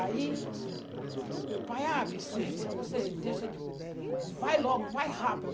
Aí, meu pai, ah Vicência, você deixa de... Vai logo, vai rápido.